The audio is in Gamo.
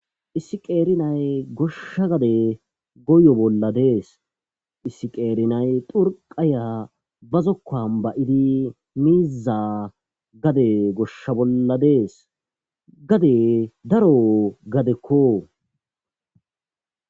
issi qeeri nay goshsha gade goyo bolla dees. issi qeeri nay xurqaya bazokkan ba'idi miizza gade goshsha bolla dees gade daro gadekko.